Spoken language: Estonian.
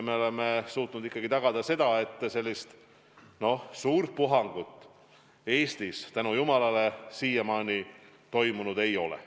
Me oleme suutnud ikkagi tagada, et väga suurt puhangut Eestis, tänu jumalale, siiamaani olnud ei ole.